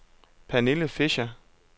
Pernille Fischer